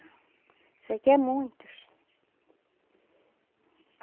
Isso aqui é muitos.